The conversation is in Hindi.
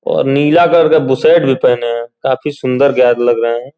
और नीला कलर का बूशर्ट भी पहने हैं। काफी सुंदर लग रहे हैं।